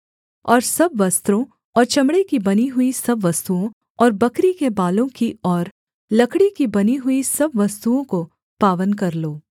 और सब वस्त्रों और चमड़े की बनी हुई सब वस्तुओं और बकरी के बालों की और लकड़ी की बनी हुई सब वस्तुओं को पावन कर लो